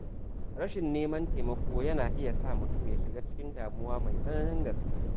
Rashin neman taimako yana iya sa mutum shiga cikin damuwa mai tsananin gaske.